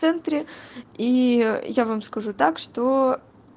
в центре и я вам скажу так что